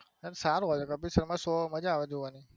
સારું હોય છે કપિલ શર્મા show મજા આવે જોવની.